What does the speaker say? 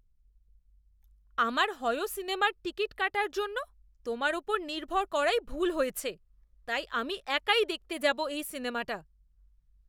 আমার হয়ো সিনেমার টিকিট কাটার জন্য তোমার ওপর নির্ভর করাই ভুল হয়েছে, তাই আমি একাই দেখতে যাবো এই সিনেমাটা।